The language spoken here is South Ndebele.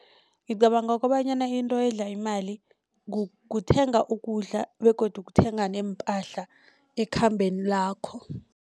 Ngicabanga kobanyana into edla imali kuthenga ukudla begodu kuthenga neempahla ekhambeni lakho.